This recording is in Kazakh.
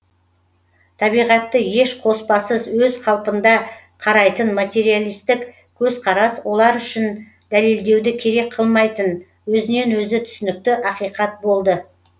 табиғатты еш қоспасыз өз қалпында қарайтын материалисттік көзқарас олар үшін дәлелдеуді керек қылмайтын өзінен өзі түсінікті ақиқат болды